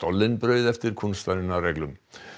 stollen brauð eftir kúnstarinnar reglum